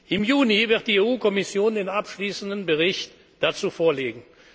durchgeführt haben. Im Juni wird die EU Kommission den abschließenden Bericht